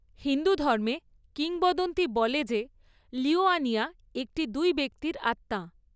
হিন্দুধর্মে, কিংবদন্তী বলে যে লিওয়ানিয়া একটি দুই ব্যক্তির আত্মা।